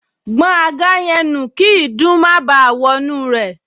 Gbọn àga yẹn nù kí ìdun má báà wọnú rẹ̀